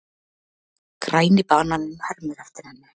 Græni bananinn hermir eftir henni.